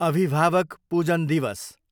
अभिभावक पूजन दिवस